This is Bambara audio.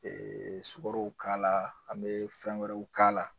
sukarow k'a la an mɛ fɛn wɛrɛw k'a la.